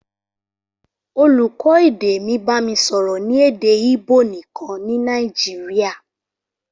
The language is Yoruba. Olùkọ́ èdè mi bami sọ̀rọ̀ ní èdè Ìbò nìkan ní Nàìjíríà.